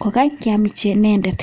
kokakiam inendet